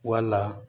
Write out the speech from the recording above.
Wala